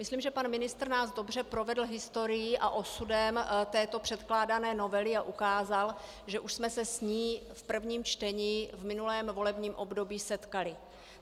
Myslím, že pan ministr nás dobře provedl historií a osudem této předkládané novely a ukázal, že už jsme se s ní v prvním čtení v minulém volebním období setkali.